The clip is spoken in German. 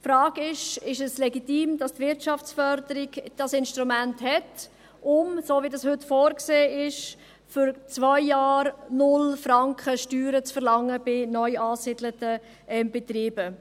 Die Frage ist, ob es legitim ist, dass die Wirtschaftsförderung dieses Instrument hat, um – wie dies heute vorgesehen ist – bei neu angesiedelten Betrieben für zwei Jahre 0 Franken Steuern zu verlangen.